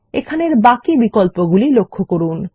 এখানে বাকি বিকল্পগুলি লক্ষ্য করুন